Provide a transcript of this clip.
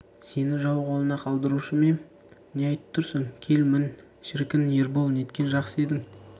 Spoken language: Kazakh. сені жау қолына қалдырушы ма ем не айтып тұрсың кел мін шіркін ербол неткен жақсы едің